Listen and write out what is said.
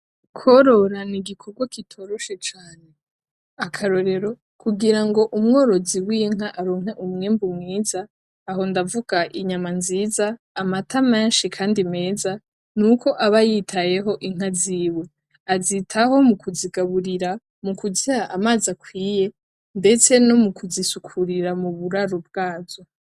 Kworora nigikorwa kitoroshe cane, akarore kugira ngo umworozi w'inka aronke umwimbu mwiza, aho ndavuga inyama nziza, amata menshi kandi meza nuko aba yitayeho inka ziwe, azitaho mukuzigaburira, mukuziha amazi akwiye, ndetse nomukuzisukurira muburaro bwazo.